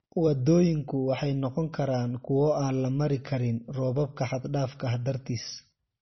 Waddooyinku waxay noqon karaan kuwo aan la mari karin roobabka xad dhaafka ah dartiis"